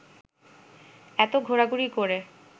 এত ঘোরাঘুরি করে